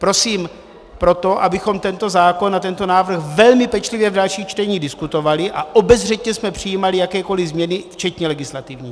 Prosím proto, abychom tento zákon a tento návrh velmi pečlivě v dalších čteních diskutovali a obezřetně jsme přijímali jakékoliv změny včetně legislativních.